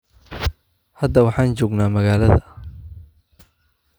Hadda waxaan joognaa magaalada.